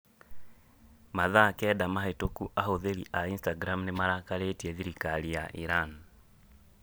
Mathaa kenda mahĩtũku ahũthĩri a Instagram nĩ marakarĩtie thirikari ya Iran.